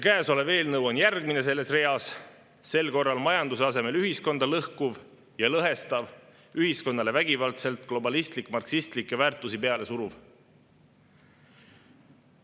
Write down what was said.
Käesolev eelnõu on järgmine selles reas, sel korral majanduse asemel ühiskonda lõhkuv ja lõhestav, ühiskonnale vägivaldselt globalistlik-marksistlikke väärtusi peale suruv.